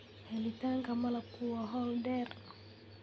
Helitaanka malabku waa hawl dheer.